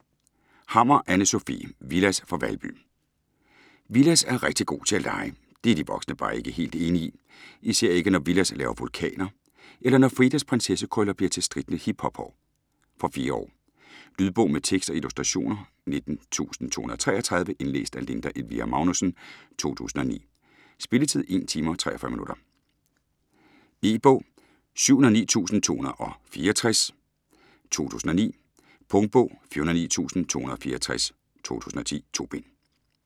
Hammer, Anne Sofie: Villads fra Valby Villads er rigtig god til at lege. Det er de voksne bare ikke helt enige i. Især ikke når Villads laver vulkaner, eller når Fridas prinsessekrøller bliver til strittende hiphophår. Fra 4 år. Lydbog med tekst og illustrationer 19233 Indlæst af Linda Elvira Magnussen, 2009. Spilletid: 1 timer, 43 minutter. E-bog 709264 2009. Punktbog 409264 2010. 2 bind.